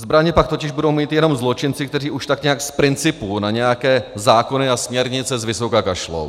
Zbraně pak totiž budou mít jenom zločinci, kteří už tak nějak z principu na nějaké zákony a směrnice z vysoka kašlou.